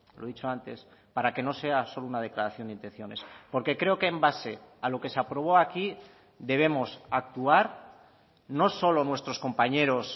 lo he dicho antes para que no sea solo una declaración de intenciones porque creo que en base a lo que se aprobó aquí debemos actuar no solo nuestros compañeros